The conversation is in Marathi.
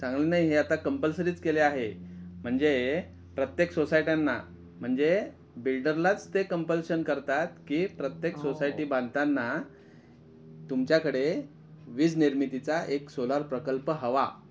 चांगला नाही आहे, आता कॉम्प्लसरीचं केले आहे. म्हणजे प्रत्येक सोसायट्याना म्हणजे बिल्डरलाच ते कॉम्पलशन करतात कि प्रत्येक सोसायटी बांधतांना तुमच्याकडे वीज निर्मिती चा एक सोलार प्रकल्प हवा